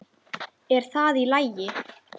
Er það í lagi?